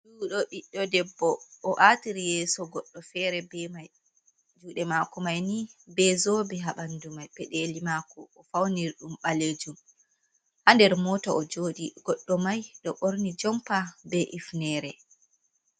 Juɗo ɓiɗɗo debbo o aatiri yeso goɗɗo fere be mai juɗe maako mai ni be zobe haɓandu mai peɗeli maako o fauniri ɗum ɓalejum haa nder mota o joɗi goɗɗo mai ɗo ɓorni jompa be ifnere.